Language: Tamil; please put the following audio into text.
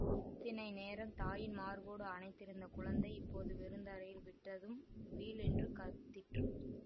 இத்தனை நேரம் தாயின் மார்போடு அணைந்திருந்த குழந்தை இப்போது வெறுந் தரையில் விடப்பட்டதும் வீல் என்று கத்திற்று